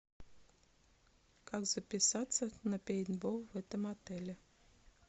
как записаться на пейнтбол в этом отеле